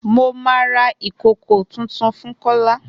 Mo ma ra ìkòkò tuntun fún Kola